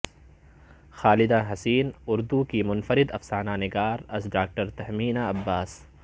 خالدہ حسین اردو کی منفرد افسانہ نگار از ڈاکٹر تہمینہ عباس